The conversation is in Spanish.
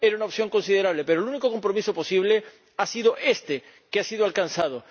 era una opción considerable, pero el único compromiso posible ha sido este que ha sido alcanzado.